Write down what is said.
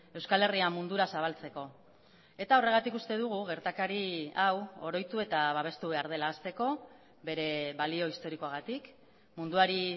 euskal herria mundura zabaltzeko eta horregatik uste dugu gertakari hau oroitu eta babestu behar dela hasteko bere balio historikoagatik munduari